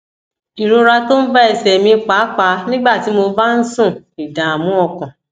ìrora tó ń bá ẹsè mi pàápàá nígbà tí mo bá ń sùn ìdààmú ọkàn